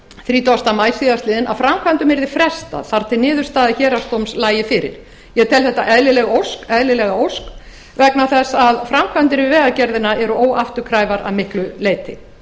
þrítugasta maí síðastliðinn að framkvæmdum yrði frestað þar til niðurstaða héraðsdóms lægi fyrir ég tel þetta eðlilega ósk vegna þess að framkvæmdir við vegagerðina eru óafturkræfar að miklu leyti